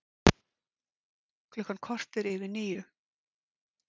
Klukkan korter yfir níu